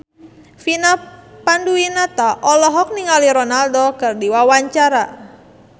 Vina Panduwinata olohok ningali Ronaldo keur diwawancara